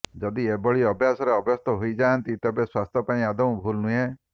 ଯଦି ଏଭଳି ଅଭ୍ୟାସରେ ଅଭ୍ୟସ୍ତ ହୋଇଯାଆନ୍ତି ତେବେ ସ୍ୱାସ୍ଥ୍ୟ ପାଇଁ ଆଦୌ ଭୁଲ୍ ନୁହେଁ